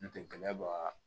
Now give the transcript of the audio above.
N tɛgɛ bɔ